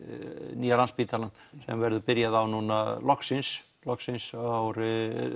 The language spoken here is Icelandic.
nýja Landspítalann sem verður byrjað á núna loksins loksins árið